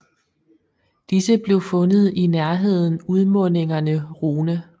Disse blev fundet i nærheden udmundingerne Rhône